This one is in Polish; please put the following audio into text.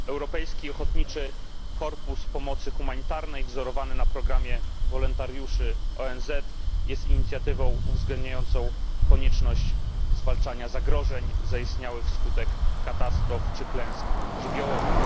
Europejski Ochotniczy Korpus Pomocy Humanitarnej, wzorowany na programie wolontariuszy ONZ, jest inicjatywą uwzględniającą konieczność zwalczania zagrożeń zaistniałych wskutek katastrof czy klęsk żywiołowych.